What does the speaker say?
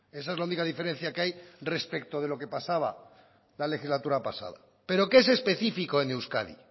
esa es la única diferencia que hay respecto de lo que pasaba la legislatura pasada pero qué es específico en euskadi